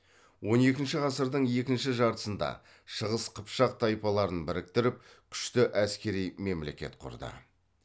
он екінші ғасырдың екінші жартысында шығыс қыпшақ тайпаларын біріктіріп күшті әскери мемлекет құрды